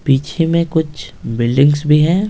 पीछे में कुछ बिल्डिंग्स भी हैं।